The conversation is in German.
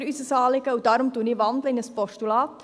Deshalb wandle ich in ein Postulat.